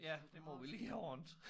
Ja det må vi lige have ordnet